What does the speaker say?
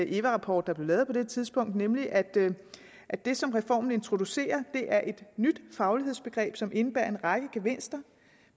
eva rapport der blev lavet på det tidspunkt nemlig at at det som reformen introducerer er et nyt faglighedsbegreb som indebærer en række gevinster